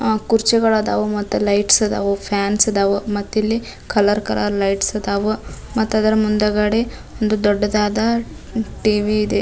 ಆ ಕುರ್ಚಿಗಳದಾವು ಮತ್ತ್ ಲೈಟ್ಸ್ ಗಳಾದವು ಫ್ಯಾನ್ ಅದಾವು ಮತ್ತಿಲ್ಲಿ ಕಲರ್ ಕಲರ್ ಲೈಟ್ಸ್ ಅದಾವು ಮತ್ತದರ ಮುಂದಗಡೆ ಒಂದು ದೊಡ್ಡದಾದ ಟಿವಿ ಇದೆ.